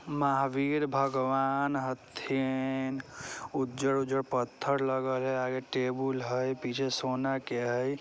महावीर भगवान हथिन उजर-उजर पत्थर लगल हई आगे टेबुल हई पीछे सोना के हई।